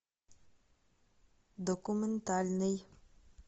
документальный